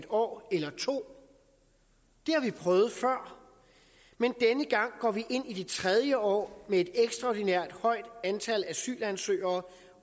år eller to det har vi prøvet før men denne gang går vi ind i det tredje år med et ekstraordinært højt antal asylansøgere